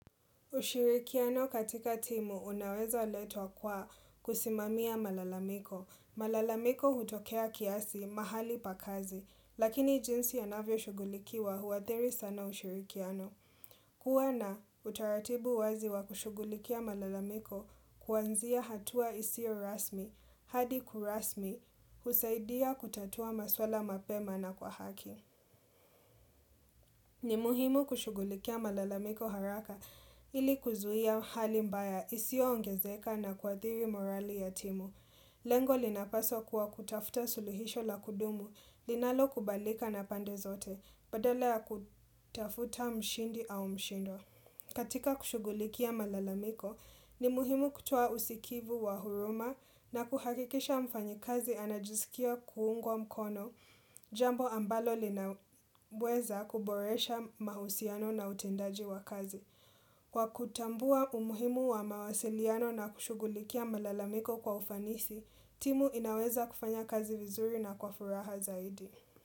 Ushirikiano katika timu unaweza letwa kwa kusimamia malalamiko. Malalamiko hutokea kiasi mahali pakazi, lakini jinsi yanavyo shugulikiwa huadhiri sana ushirikiano. Kuwa na utaratibu wazi wa kushugulikia malalamiko kuanzia hatua isio rasmi, hadi kurasmi, husaidia kutatua maswala mapema na kwa haki. Ni muhimu kushugulikia malalamiko haraka ili kuzuia hali mbaya isio ongezeka na kuathiri morali ya timu. Lengo linapaso kuwa kutafuta suluhisho la kudumu linalo kubalika na pande zote badala ya kutafuta mshindi au mshindwa. Katika kushugulikia malalamiko, ni muhimu kutua usikivu wa huruma na kuhakikisha mfanyi kazi anajisikia kuungwa mkono jambo ambalo linaweza kuboresha mahusiano na utendaji wa kazi. Kwa kutambua umuhimu wa mawasiliano na kushugulikia malalamiko kwa ufanisi, timu inaweza kufanya kazi vizuri na kwa furaha zaidi.